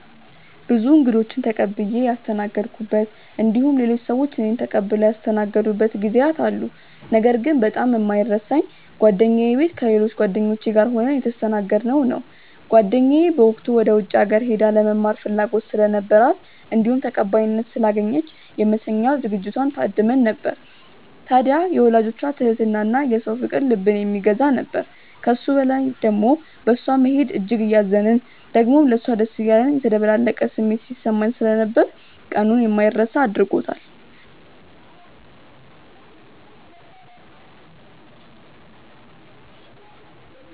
ብዙ እንግዶችን ተቀብዬ ያስተናገድኩበት እንዲሁም ሌሎች ሰዎች እኔን ተቀብለው ያስተናገዱበት ጊዜያት አሉ። ነገር ግን በጣም የማይረሳኝ ጓደኛዬ ቤት ከሌሎች ጓደኞቼ ጋር ሆነን የተስተናገድነው ነው። ጓደኛዬ በወቅቱ ወደ ውጪ ሀገር ሄዳ ለመማር ፍላጎት ስለነበራት እንዲሁም ተቀባይነት ስላገኘች የመሸኛ ዝግጅቷ ላይ ታድመን ነበር። ታድያ የወላጆቿ ትህትና እና የሰው ፍቅር ልብን የሚገዛ ነበር። ከሱ በላይ ደሞ በእሷ መሄድ እጅግ እያዘንን ደሞም ለሷ ደስ እያለን የተደበላለቀ ስሜት ሲሰማን ስለነበር ቀኑን የማይረሳ አድርጎታል።